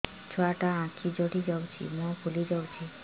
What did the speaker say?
ଛୁଆଟା ଆଖି ଜଡ଼ି ଯାଉଛି ମୁହଁ ଫୁଲି ଯାଉଛି